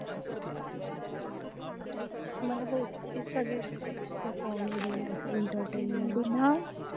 मला web series suggest करशील का comedy plus entertainment